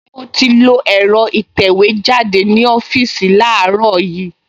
Mo ti lo ẹ̀rọ ìtẹ̀wẹ́jáde ní ọ́fíìsì láàárọ̀ yìí